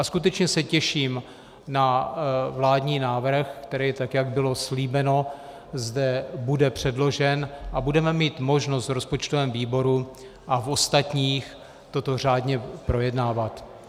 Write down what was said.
A skutečně se těším na vládní návrh, který, tak jak bylo slíbeno, zde bude předložen a budeme mít možnost v rozpočtovém výboru a v ostatních toto řádně projednávat.